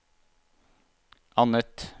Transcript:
annet